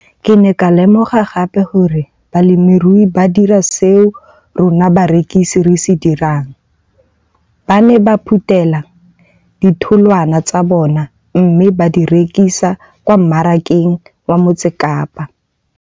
Ke ne ka lemoga gape gore balemirui ba dira seo rona barekisi re se dirang, ba ne ba phuthela ditholwana tsa bona mme ba di rekisa kwa marakeng wa Motsekapa.